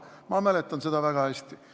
Ma mäletan seda väga hästi.